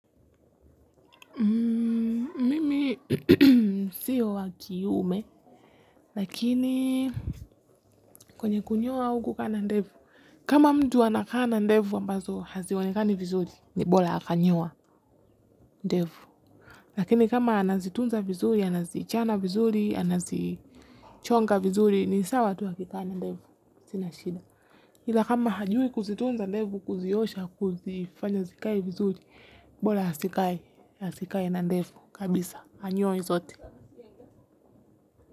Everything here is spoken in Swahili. Sio wa kiume lakini kwenye kunyoa au kukaa na ndefu kama mtu anakaa na ndefu ambazo hazionekani vizuri ni bora akanyoa ndefu. Lakini kama anazitunza vizuri anazichana vizuri anazichonga vizuri ni sawa tu akikaa na ndefu sina shida ila kama hajui kuzitunza ndefu kuziosha kuzifanya zikae vizuri bora asikae na ndefu kabisa anyoe zote.